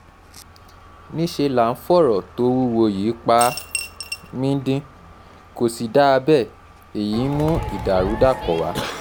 um níṣẹ́ là ń fọ̀rọ̀ tó wúwo yìí pa um mí-ín-dín kò sì dáa bẹ́ẹ̀ èyí ń mú ìdàrúdàpọ̀ wá